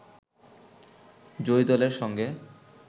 জয়ী দলের সঙ্গে